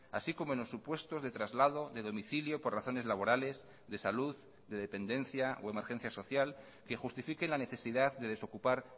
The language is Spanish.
así como en los supuestos de traslado de domicilio por razones laborales de salud de dependencia o emergencia social que justifiquen la necesidad de desocupar